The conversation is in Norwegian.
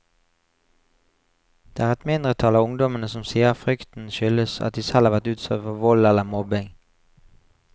Det er et mindretall av ungdommene som sier frykten skyldes at de selv har vært utsatt for vold eller mobbing.